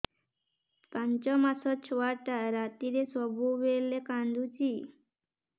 ପାଞ୍ଚ ମାସ ଛୁଆଟା ରାତିରେ ସବୁବେଳେ କାନ୍ଦୁଚି